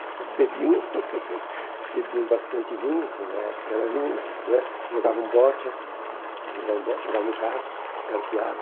Eles bebiam, bebiam bastante vinho, que na época era vinho né, jogavam bocha, jogavam bocha, jogavam carta, carteado.